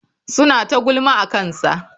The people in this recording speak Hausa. Suna ta gulma akansa.